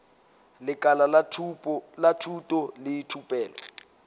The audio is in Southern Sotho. lekala la thuto le thupelo